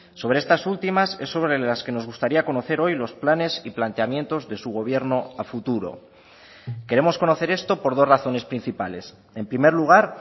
sobre estas últimas es sobre las que nos gustaría conocer hoy los planes y planteamientos de su gobierno a futuro queremos conocer esto por dos razones principales en primer lugar